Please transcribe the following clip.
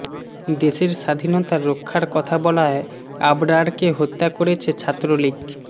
দেশের স্বাধীনতা রক্ষার কথা বলায় আবরারকে হত্যা করেছে ছাত্রলীগ